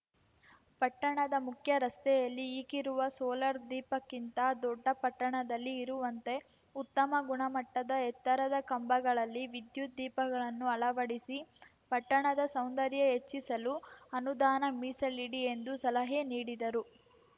ಪಟ್ಟಣದ ಮುಖ್ಯ ರಸ್ತೆಯಲ್ಲಿ ಈಗಿರುವ ಸೋಲಾರ್‌ ದೀಪಕ್ಕಿಂತ ದೊಡ್ಡ ಪಟ್ಟಣದಲ್ಲಿ ಇರುವಂತೆ ಉತ್ತಮ ಗುಣಮಟ್ಟದ ಎತ್ತರದ ಕಂಬಗಳಲ್ಲಿ ವಿದ್ಯುತ್‌ ದೀಪಗಳನ್ನು ಅಳವಡಿಸಿ ಪಟ್ಟಣದ ಸೌಂದರ್ಯ ಹೆಚ್ಚಿಸಲು ಅನುದಾನ ಮೀಸಲಿಡಿ ಎಂದು ಸಲಹೆ ನೀಡಿದರು